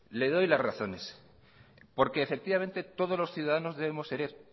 le doy las razones porque efectivamente todos los ciudadanos debemos ser